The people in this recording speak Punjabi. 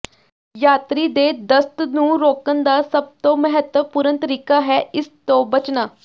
ਯਾਤਰੀ ਦੇ ਦਸਤ ਨੂੰ ਰੋਕਣ ਦਾ ਸਭ ਤੋਂ ਮਹੱਤਵਪੂਰਨ ਤਰੀਕਾ ਹੈ ਇਸ ਤੋਂ ਬਚਣਾ